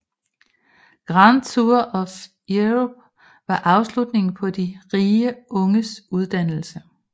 Grand Tour of Europe var afslutningen på de rige unges uddannelse